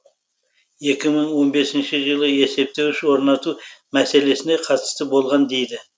екі мың он бесінші жылы есептеуіш орнату мәселесіне қатысы болған дейді